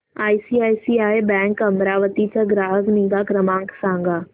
ICICI bank Amravati चा ग्राहक निगा क्रमांक सांगा